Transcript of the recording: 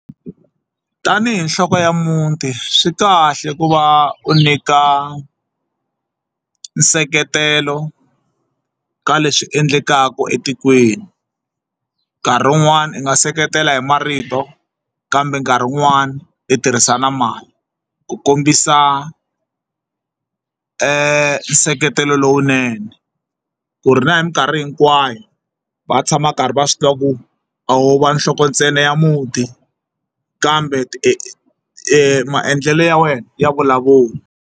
Tanihi nhloko ya muti swi kahle ku va u nyika nseketelo ka leswi endlekaka etikweni nkarhi wun'wani u nga seketela hi marito kambe nkarhi wun'wani hi tirhisa na mali ku kombisa nseketelo lowunene ku ri na hi minkarhi hinkwayo va tshama va karhi va swi tiva ku a wu va nhloko ntsena ya muti kambe maendlelo ya wena ya vulavula.